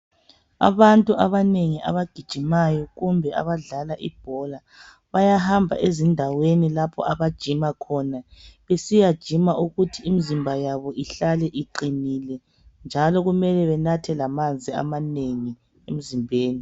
Abantu abanengi abagijimayo kumbe abadlala ibhola, bayahamba ezindaweni lapho abajima khona. Besiyajima ukuthi imzimba yabo ihlale iqinile. Njalo kumele benathe lamanzi amanengi emzimbeni.